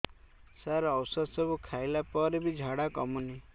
ସାର ଔଷଧ ସବୁ ଖାଇଲା ପରେ ବି ଝାଡା କମୁନି